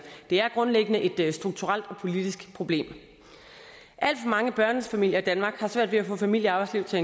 det er grundlæggende et strukturelt og politisk problem alt for mange børnefamilier i danmark har svært ved at få familie og arbejdsliv til